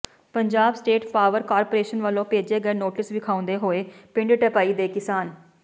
Punjab state power corporation ਵਲੋਂ ਭੇਜੇ ਗਏ ਨੋਟਿਸ ਵਿਖਾਉਂਦੇ ਹੋਏ ਪਿੰਡ ਢੈਪਈ ਦੇ ਕਿਸਾਨ